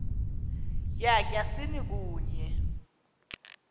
tya tyasini kunye